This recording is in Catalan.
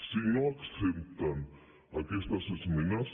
si no accepten aquestes esmenes